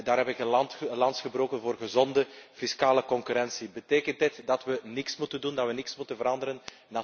Daar heb ik een lans gebroken voor gezonde fiscale concurrentie. Betekent dit dat we niets moeten doen, dat we niets moeten veranderen?